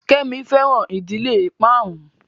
Kemi fẹran ìdílé ìparun